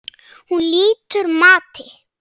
Hún lýtur mati.